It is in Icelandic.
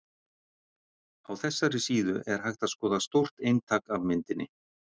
Á þessari síðu er hægt að skoða stórt eintak af myndinni.